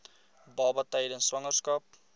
baba tydens swangerskap